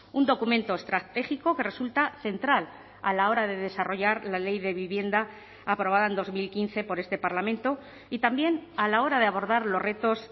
un documento estratégico que resulta central a la hora de desarrollar la ley de vivienda aprobada en dos mil quince por este parlamento y también a la hora de abordar los retos